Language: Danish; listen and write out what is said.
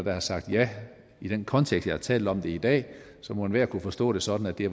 er sagt ja i den kontekst jeg har talt om det i dag må enhver kunne forstå det sådan at det